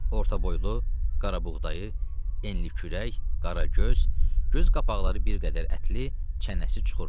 Orta boylu, qarabuğdayı, enli kürək, qara göz, göz qapaqları bir qədər ətli, çənəsi çuxurlu.